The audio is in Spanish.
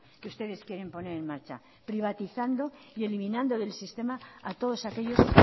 que ustedes quieren poner en marcha privatizando y eliminando del sistema a todos aquellos